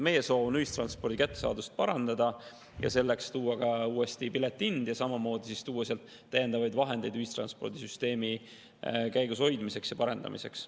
Meie soov on ühistranspordi kättesaadavust parandada ja selleks uuesti piletihind ja samamoodi täiendavaid vahendeid ühistranspordisüsteemi käigushoidmiseks ja parendamiseks.